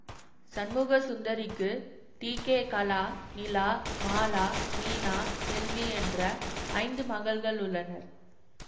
சண்முகசுந்தரிக்கு டிகேகலா நீலா மாலா மீனா செல்வி என்ற ஐந்து மகள்கள் உள்ளனர்